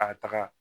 A taga